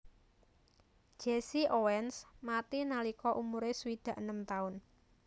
Jesse Owens mati nalika umuré swidak enem taun